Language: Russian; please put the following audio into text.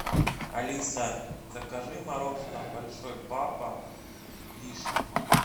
алиса закажи мороженое большой папа вишня